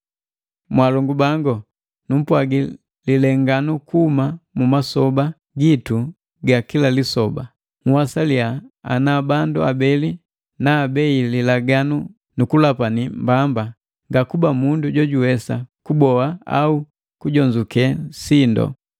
Mwaalongu bangu, numpwagi lilenganu kuhuma mumasoba gitu ga kila lisoba. Nhwasaliya ana bandu abeli naabei lilaganu nukulapani mbamba ngakuba mundu jojuwesa kuboa au kujonzuke sindu.